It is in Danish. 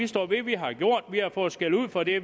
står ved at vi har gjort det vi har fået skældud for det